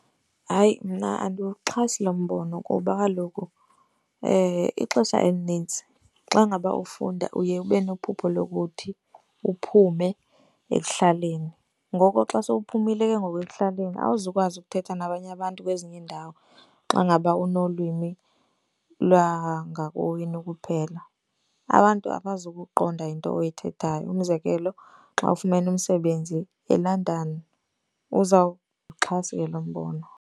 Hayi, mna andiwuxhasi lo mbono kuba kaloku ixesha elinintsi xa ngaba ufunda uye ube nephupho lokuthi uphume ekuhlaleni. Ngoko xa sowuphumile ke ngoku ekuhlaleni awuzukwazi ukuthetha nabanye abantu kwezinye iindawo xa ngaba unolwimi lwangakowenu kuphela. Abantu abazukuqonda into oyithethayo umzekelo, xa ufumene umsebenzi eLondon, uzawuxhasa ke lo mbono.